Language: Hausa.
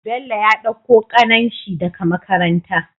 Bello ya ɗauko kanan shi daka makaranta